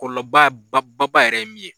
Kɔlɔba ba ba yɛrɛ ye min ye